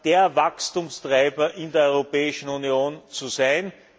der Wachstumstreiber in der Europäischen Union zu sein.